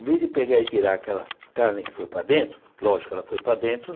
Em vez de pegar e tirar aquela carne que foi para dentro, lógico que ela foi para dentro.